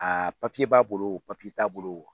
Aa papiye b'a bolo o papii t'a bolo o.